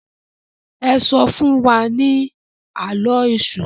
e so fún wá ní Àló̩ Èṣù